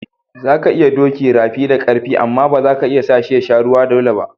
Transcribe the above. Za ka iya doki rafi da karfi amma ba za ka iya sa shi ya sha ruwa dolle ba.